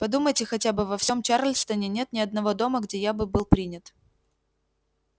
подумайте хотя бы во всем чарльстоне нет ни одного дома где я бы был принят